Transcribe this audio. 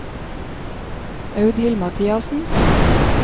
Audhild Mathiassen